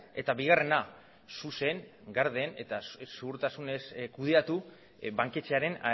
eta bigarrena zuzen garden eta zuhurtasunez kudeatu banketxearen